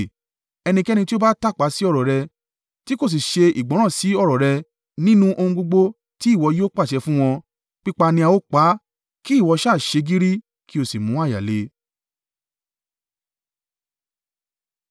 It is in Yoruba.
Ẹnikẹ́ni tí ó bá tàpá sí ọ̀rọ̀ rẹ, tí kò sì ṣe ìgbọ́ràn sí ọ̀rọ̀ rẹ nínú ohun gbogbo tí ìwọ yóò pàṣẹ fún wọn, pípa ni a ó pa á. Kí ìwọ sá à ṣe gírí, kí ó sì mú àyà le!”